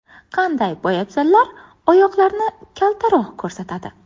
Qanday poyabzallar oyoqlarni kaltaroq ko‘rsatadi?